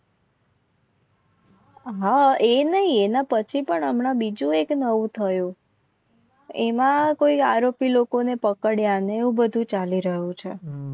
હા એ નહિ એના પછી પણ હમણાં બીજું એક નવું થયું એમાં કોઈ આરોપી લોકોને પકડ્યાને એવું બધું ચાલી રહ્યું છે.